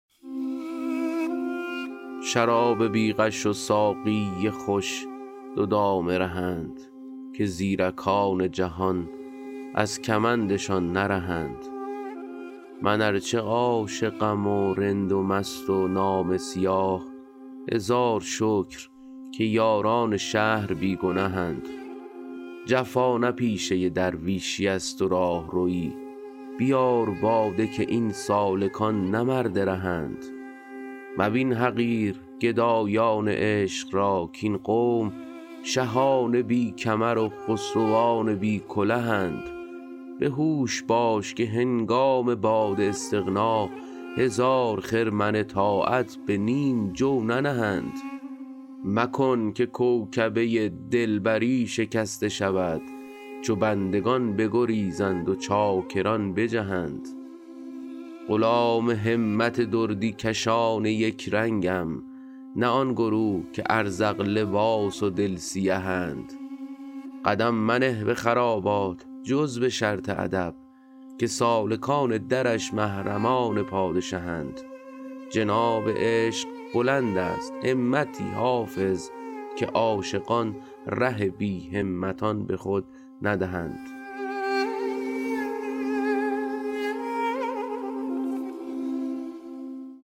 شراب بی غش و ساقی خوش دو دام رهند که زیرکان جهان از کمندشان نرهند من ار چه عاشقم و رند و مست و نامه سیاه هزار شکر که یاران شهر بی گنهند جفا نه پیشه درویشیست و راهروی بیار باده که این سالکان نه مرد رهند مبین حقیر گدایان عشق را کاین قوم شهان بی کمر و خسروان بی کلهند به هوش باش که هنگام باد استغنا هزار خرمن طاعت به نیم جو ننهند مکن که کوکبه دلبری شکسته شود چو بندگان بگریزند و چاکران بجهند غلام همت دردی کشان یک رنگم نه آن گروه که ازرق لباس و دل سیهند قدم منه به خرابات جز به شرط ادب که سالکان درش محرمان پادشهند جناب عشق بلند است همتی حافظ که عاشقان ره بی همتان به خود ندهند